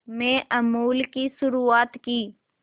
में अमूल की शुरुआत की